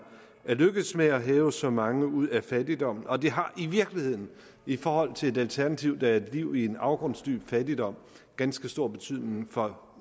er lykkedes med at hæve så mange ud af fattigdommen og det har i virkeligheden i forhold til et alternativ som er et liv i en afgrundsdyb fattigdom ganske stor betydning for